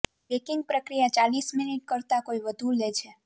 baking પ્રક્રિયા ચાલીસ minute કરતાં કોઈ વધુ લે છે